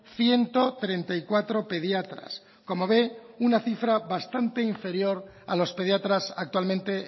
ciento treinta y cuatro pediatras como ve una cifra bastante inferior a los pediatras actualmente